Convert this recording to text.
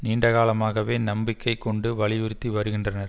நீண்ட காலமாகவே நம்பிக்கை கொண்டு வலியுறுத்தி வருகின்றனர்